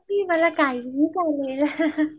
मला काहीही